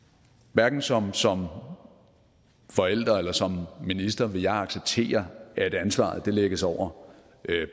hverken som som forælder eller som minister vil jeg acceptere at ansvaret lægges over